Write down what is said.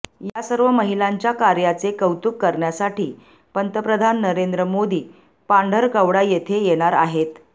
यासर्व महिलांच्या कार्याचे कौतुक करण्यासाठी पंतप्रधान नरेंद्र मोदी पांढरकवडा येथे येणार आहेत